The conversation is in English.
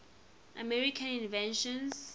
american inventions